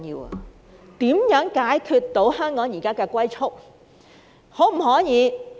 政府如何解決香港現時的"龜速"發展？